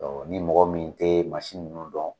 ni mɔgɔ min tɛ mansi ninnu dɔn